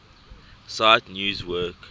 cite news work